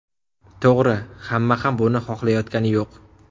To‘g‘ri, hamma ham buni xohlayotgani yo‘q.